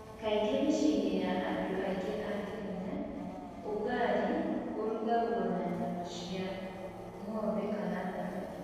Kaingĩ mũciĩ-inĩ wa andũ aingĩ a Kenya, ũgali ũrutagwo na nyama cia ng'ombe kana thamaki.